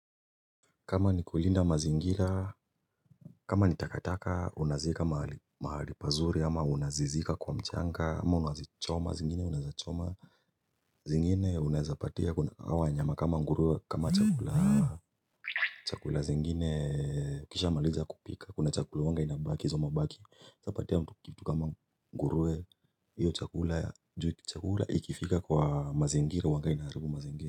Kama ni kulinda mazingira kama ni takataka unazika mahali pazuri ama unazizika kwa mchanga ama unazichoma zingine unaezachoma zingine unaezapatia hawa wanyama kama ngurue kama chakula chakula zingine kisha maliza kupika kuna chakula huwanga inabaki izo mabaki sa patia mtu kitu kama ngurue hiyo chakula juu chakula ikifika kwa mazingira huwanga inaharibu mazingira.